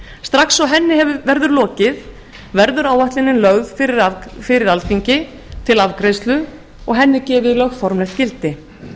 strax og henni verður lokið verður áætlunin lögð fyrir alþingi til afgreiðslu og henni gefið lögformlegt gildi